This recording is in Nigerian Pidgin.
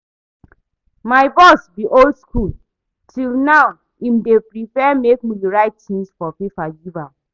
My boss be old school, till now im dey prefer make we write things for paper give am